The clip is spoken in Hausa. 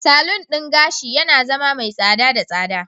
Salon gashi yana zama mai tsada da tsada.